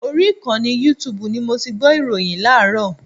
Orí ìkànnì yútuùbù ni mo ti gbọ́ ìròyìn láàárọ̀.